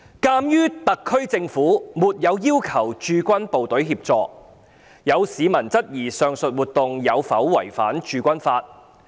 鑒於特區政府沒有要求駐港部隊協助，有市民質疑上述活動有否違反《駐軍法》。